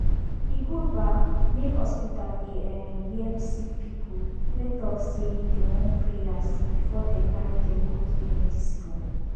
e good um make hospital dey um hear sick people wen talk say dem wan prayers before dem carry dem go give medicine oh